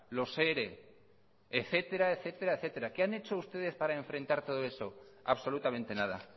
los ere etcétera etcétera etcétera qué han hecho ustedes para enfrentar todo eso absolutamente nada